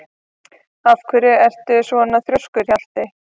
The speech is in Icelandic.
Af hverju ertu svona þrjóskur, Hjaltey?